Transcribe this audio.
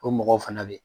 O mɔgɔw fana bɛ yen